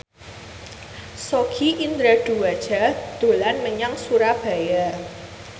Sogi Indra Duaja dolan menyang Surabaya